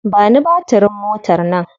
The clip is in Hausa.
Ba ni batirin motar nan.